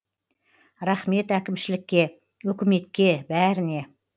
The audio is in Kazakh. рахмет әкімшілікке өкіметке бәріне